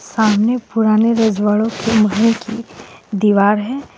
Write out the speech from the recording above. सामने पुराने रजवाड़ों के महल कि दीवार है.